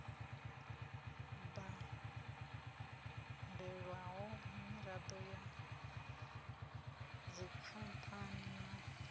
badelwaho miraḓo ya dzikhamphani na